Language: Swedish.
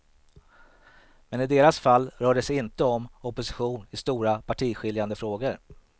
Men i deras fall rör det sig inte om opposition i stora partiskiljande frågor.